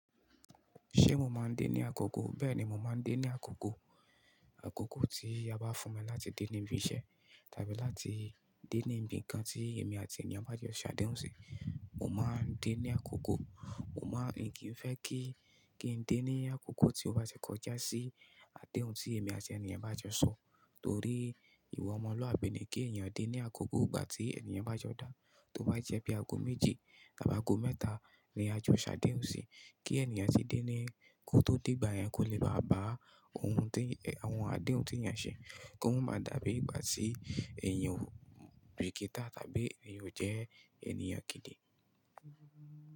Ṣé mo máa ń dé ní àkókò? Bẹ́ẹ̀ni, mo máa ń dé ní àkókò. Àkókò tí a bá fún mi láti dé ní ibi iṣẹ́ tàbí láti dé ní ibi nǹkan tí èmi àti ènìyàn bá jọ ṣ'àdéhùn sí, mo máa ń dé ní àkókò. Mo máa ń kì í fẹ́ kí, kí n dé ní àkókò tí ó bá jẹ́ kọjá sí àdéhùn tí èmi àti ènìyàn bá jọ sọ. Nítorí ìwà ọmọlúàbí ni kí ènìyàn dé ní àkókò ìgbà tí ènìyàn bá jọ dá. Tó bá jẹ́ bí i ago méji tàbí ago mẹ́ta ni a jọ ṣ'àdéhùn sí, kí ènìyàn tí dé ní, kó tó dé ìgbà yẹn, kò lè bá à bá òun tí, àwọn àdéhùn tí èèyàn ṣe, kó má dàbí ìgbà tí èèyàn ò bíkítà tàbí èèyàn ò jẹ́ ènìyàn kìn-ín-ní.